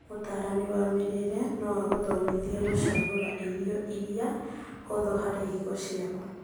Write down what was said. Mũtarani wa mĩrĩre no agũthomithie gũcagũra irio iria hũthũ harĩ higo ciaku